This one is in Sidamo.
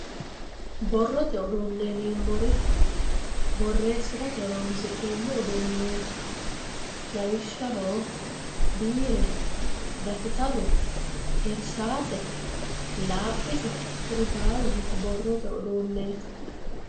borroye uduunne yineemmori borreessirate horonsi'neemmo uduunneeti